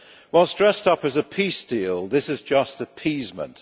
While dressed up as a peace deal, this is just appeasement.